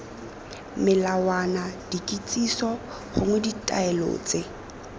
melawana dikitsiso gongwe ditaelo tse